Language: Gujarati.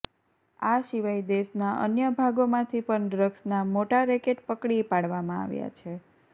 આ સિવાય દેશના અન્ય ભાગોમાંથી પણ ડ્રગ્સના મોટા રેકેટ પકડી પાડવામાં આવ્યા છે